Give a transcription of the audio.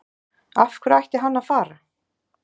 Af hverju ætti hann að fara?